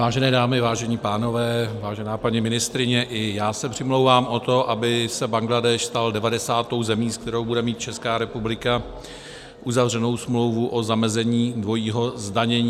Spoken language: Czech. Vážené dámy, vážení pánové, vážená paní ministryně, i já se přimlouvám o to, aby se Bangladéš stal 90. zemí, s kterou bude mít Česká republika uzavřenou smlouvu o zamezení dvojího zdanění.